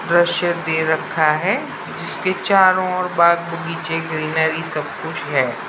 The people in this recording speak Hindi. दृश्य दे रखा रहा है जिसके चारो और बाग बगीचे ग्रीनरी सब कुछ है।